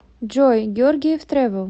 джой георгиев трэвел